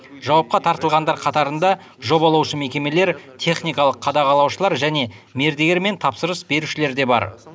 жауапқа тартылғандар қатарында жобалаушы мекемелер техникалық қадағалаушылар және мердігер мен тапсырыс берушілер де бар